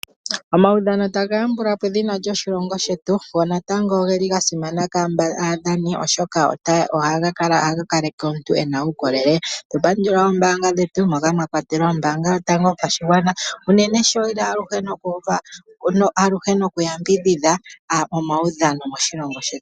Omaudhano taga yambula po edhina lyoshilongo shetu, go natango ogeli ga simana kwaamba aadhani, oshoka ohaga kaleke omuntu ena uukolele. Tatu pandula oombaanga dhetu moka mwa kwatelwa ombaanga yotango yopashigwana unene sho yeli aluhe nokuyambidhidha omaudhano moshilongo shetu.